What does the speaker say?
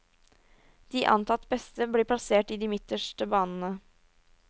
De antatt beste blir plassert i de midterste banene.